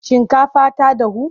Shinkafar ta dahu?